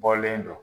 Bɔlen don